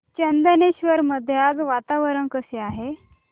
चंदनेश्वर मध्ये आज वातावरण कसे आहे